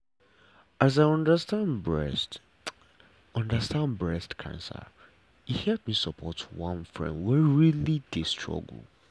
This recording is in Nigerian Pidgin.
as i understand breast understand breast cancer e help me support one friend wey really dey struggle.